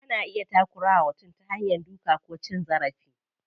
Ana iya takura wa mutum ta hanya duka ko cin zarafi.